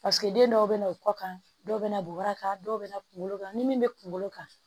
den dɔw be na o kɔ kan dɔw be na bubaraka dɔw be na kunkolo kan ni min bɛ kunkolo kan